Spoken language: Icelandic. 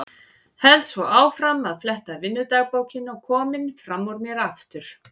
Held svo áfram að fletta vinnudagbókinni og kominn fram úr mér aftur.